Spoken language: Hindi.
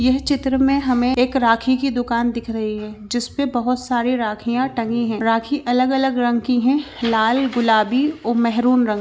यह चित्र मे हमें एक राखी की दुकान दिख रही है जिस पे बहोत सारी राखिया टंगी है राखी अलग-अलग रंग की है लाल गुलाबी ओ महरून रंग की--